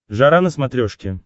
жара на смотрешке